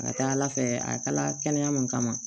A ka ca ala fɛ a kalaya mun kama